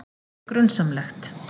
Þetta þótti grunsamlegt.